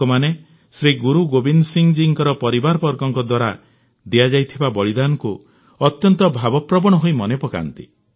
ଲୋକମାନେ ଶ୍ରୀ ଗୁରୁ ଗୋବିନ୍ଦ ସିଂ ଜୀଙ୍କ ପରିବାରବର୍ଗଙ୍କ ଦ୍ୱାରା ଦିଆଯାଇଥିବା ବଳିଦାନକୁ ଅତ୍ୟନ୍ତ ଭାବପ୍ରବଣ ହୋଇ ମନେପକାନ୍ତି